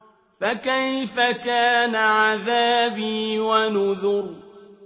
فَكَيْفَ كَانَ عَذَابِي وَنُذُرِ